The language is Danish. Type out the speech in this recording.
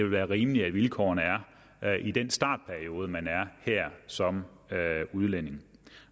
være rimeligt at vilkårene er er i den startperiode man er her som udlænding